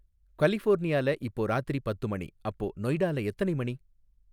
கலிஃபோர்னியால இப்போ ராத்திரி பத்து மணி, அப்போ நொய்டால எத்தனை மணி?